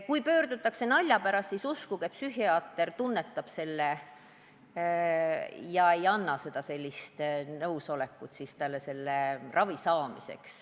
Kui pöördutakse nalja pärast, siis uskuge, psühhiaater tunneb selle ära ega anna ravi saamiseks nõusolekut.